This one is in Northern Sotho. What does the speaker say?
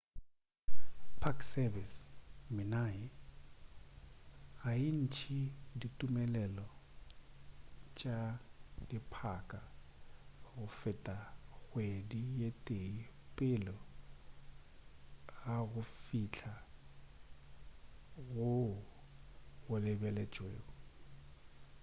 park service minae ga e ntše ditumelelo tša diphaka go feta kgwedi ye tee pele ga go fihla goo go lebeletšwego